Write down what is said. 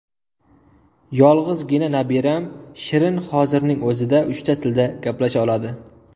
Yolg‘izgina nabiram Shirin hozirning o‘zida uchta tilda gaplasha oladi.